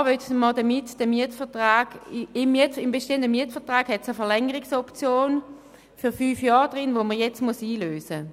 Und zwar hat es im bestehenden Mietvertrag eine Verlängerungsoption für fünf Jahre, die jetzt eingelöst werden muss.